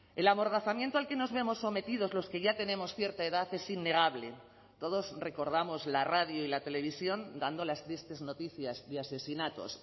el amordazamiento al que nos vemos sometidos los que ya tenemos cierta edad es innegable todos recordamos la radio y la televisión dando las tristes noticias de asesinatos